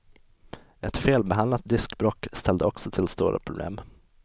Ett felbehandlat diskbråck ställde också till stora problem.